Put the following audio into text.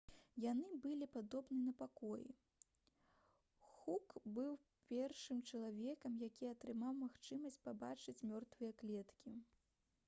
яны былі падобны на пакоі хук быў першым чалавекам які атрымаў магчымасць пабачыць мёртвыя клеткі